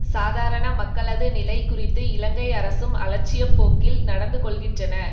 சாதாரண மக்களது நிலை குறித்து இலங்கை அரசும் அலட்சிய போக்கில் நடந்து கொள்ளுகின்றன